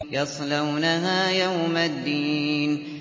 يَصْلَوْنَهَا يَوْمَ الدِّينِ